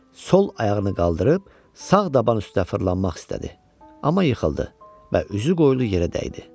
Sol ayağını qaldırıb sağ daban üstə fırlanmaq istədi, amma yıxıldı və üzü qoyulu yerə dəydi.